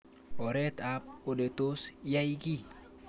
Oret ab ole tos yai kiy